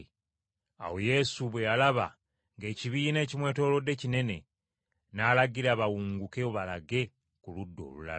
Awo Yesu bwe yalaba ng’ekibiina ekimwetoolodde kinene n’alagira bawunguke balage ku ludda olulala.